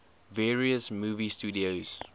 various movie studios